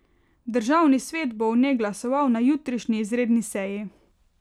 Državni svet bo o njej glasoval na jutrišnji izredni seji.